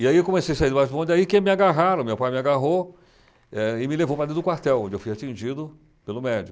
E aí eu comecei a sair debaixo do bonde, aí que me agarraram, meu pai me agarrou, eh, e me levou para dentro do quartel, onde eu fui atingido pelo médico.